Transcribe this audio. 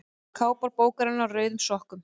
Kápa bókarinnar Á rauðum sokkum.